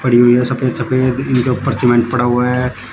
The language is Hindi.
सफेद सफेद इनके ऊपर सीमेंट पड़ा हुआ है।